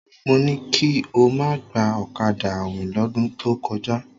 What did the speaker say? Mo ní kí o má gba ọ̀kadà àwìn lọ́dún tó kọjá.